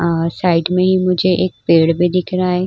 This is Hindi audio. और साइड में ही मुझे एक पेड़ भी दिख रहा है।